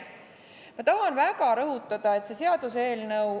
Ma tahan väga rõhutada üht.